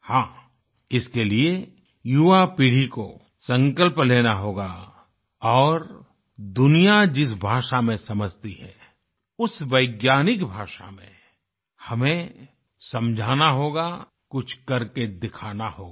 हाँ इसके लिए युवापीढ़ी को संकल्प लेना होगा और दुनिया जिस भाषा में समझती है उस वैज्ञानिक भाषा में हमें समझाना होगा कुछ करके दिखाना होगा